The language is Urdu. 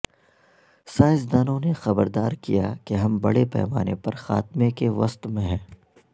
سائنسدانوں نے خبردار کیا کہ ہم بڑے پیمانے پر خاتمے کے وسط میں ہیں